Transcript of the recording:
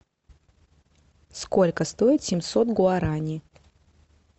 сколько стоит семьсот гуараней